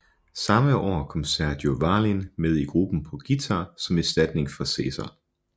Samme år kom Sergio Vallín med i gruppen på guitar som erstatning for César